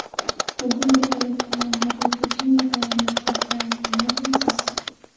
Bugun birgalikda yong‘oqli pechenye tayyorlab ko‘rsak, nima deysiz?